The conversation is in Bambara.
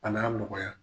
A n'a nɔgɔya